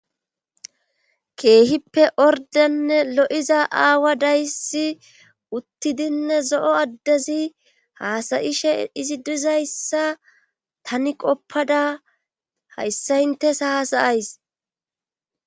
keehippe ordenne lo7iza aawa dayssi uttidinne zo7o addezi haasayishe izi dizayssa tani qoppada hayssa intes haasayays